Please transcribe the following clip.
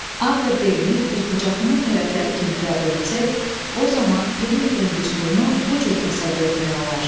A və B-ni düzbucaqlının tərəfləri kimi qəbul etsək, o zaman perimetrin düsturunu bu cür təsəvvür etmək olar.